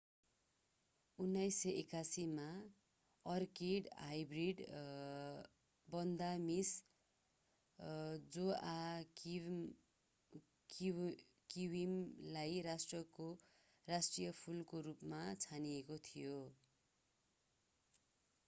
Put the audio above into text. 1981 मा orchid hybrid Vanda Miss जोआक्विमलाई राष्ट्रको राष्ट्रिय फूलको रूपमा छानिएको थियो